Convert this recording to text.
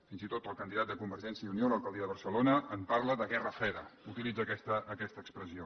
fins i tot el candidat de convergència i unió a l’alcaldia de barcelona parla de guerra freda utilitza aquesta expressió